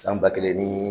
San ba kelen ni